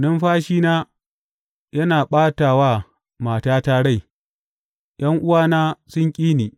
Numfashina yana ɓata wa matata rai; ’yan’uwana sun ƙi ni.